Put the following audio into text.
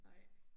Nej